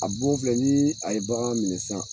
A bon filɛ ni a ye bagan minɛ sisan